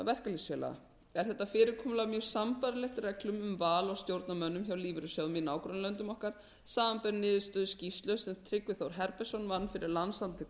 er þetta fyrirkomulag mjög sambærilegt reglum um val á stjórnarmönnum hjá lífeyrissjóðum í nágrannalöndum okkar samanber niðurstöðu skýrslu sem tryggvi þór herbertsson vann fyrir landssamtök